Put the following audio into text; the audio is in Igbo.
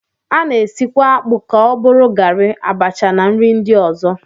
A na-esikwa akpụ ka ọ bụrụ garị, abacha na nri ndị ọzọ